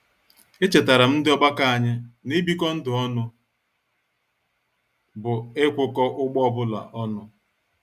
Echetaram ndị ọgbakọ anyị n'ibiko ndụ ọnụ bụ ikwuko ụgbọ ọbụla ọnụ